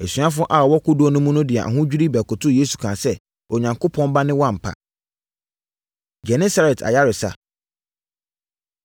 Asuafoɔ a wɔwɔ kodoɔ no mu no de ahodwirie bɛkotoo Yesu kaa sɛ, “Onyankopɔn Ba ne wo ampa!” Genesaret Ayaresa